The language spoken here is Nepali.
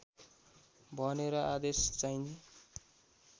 भनेर आदेश चाहिँ